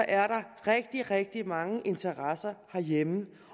er der rigtig rigtig mange interesser herhjemme